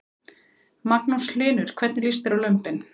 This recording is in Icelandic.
Magnús Hlynur: Hvernig líst þér á lömbin?